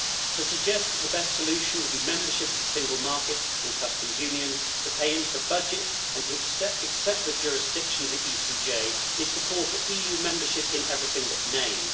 To suggest that the best solution would be membership of the single market and customs union, to pay into the budget and to accept the jurisdiction of the ECJ is to call for EU membership in everything but name.